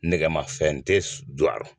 Nemafɛn tɛ jɔ a rɔ